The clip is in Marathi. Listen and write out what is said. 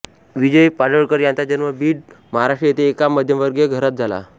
विजय पाडळकर यांचा जन्म बीड महाराष्ट्र येथे एका मध्यमवर्गीय घरात झाला